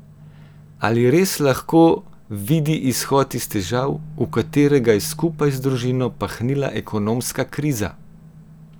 A res lahko vidi izhod iz težav, v katere ga je skupaj z družino pahnila ekonomska kriza?